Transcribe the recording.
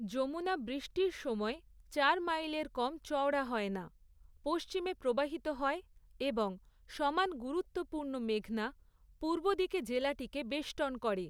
যমুনা, বৃষ্টির সময় চার মাইলের কম চওড়া হয় না, পশ্চিমে প্রবাহিত হয় এবং সমান গুরুত্বপূর্ণ মেঘনা, পূর্বদিকে জেলাটিকে বেষ্টন করে।